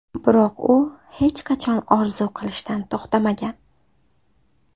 Biroq u hech qachon orzu qilishdan to‘xtamagan.